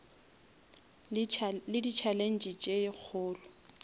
le di challenge tše kgolo